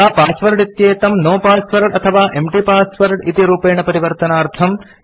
यथा पासवर्ड इत्येतं no password अथवा एम्प्टी पासवर्ड इति रूपेण परिवर्तनार्थम्